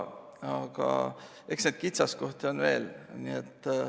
Aga eks neid kitsaskohti ole veel.